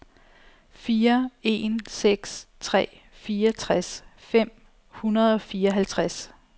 fire en seks tre fireogtres fem hundrede og fireoghalvtreds